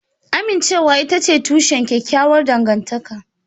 Amincewa ita ce tushen kyakkyawar dangantaka